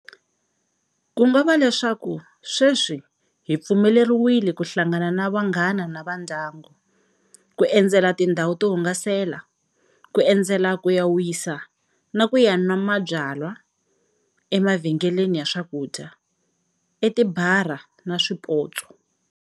Kungava leswaku sweswi hi pfumeleriwile ku hlangana na vanghana na vandyangu, ku endzela tindhawu to hungasela, ku endzela ku ya wisa na ku ya nwa byalwa emavhengeleni ya swakudya, etibara na swipotso.